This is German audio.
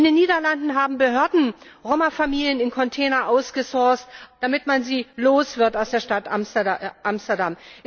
In den Niederlanden haben Behörden Roma Familien in Container ausgesourct, damit man sie aus der Stadt Amsterdam loswird.